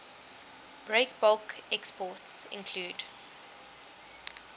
breakbulk exports include